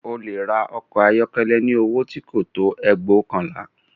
O lè ra ọkọ̀ ayọ́kọ́lẹ́ ní owó tí kò tó ẹgbóokànlá